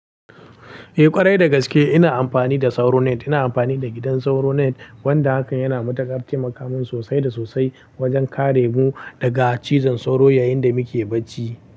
Eh ƙwarai da gaske ina amfani da SauroNet. Ina amfani da gidan SauroNet wanda hakan yana matakar taimaka min sosai da sosai wajen kare mu daga cizon sauro yayin da muke bacci.